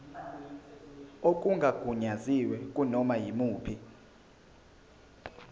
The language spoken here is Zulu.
okungagunyaziwe kunoma yimuphi